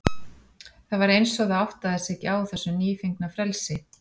Það var eins og það áttaði sig ekki á þessu nýfengna frelsi.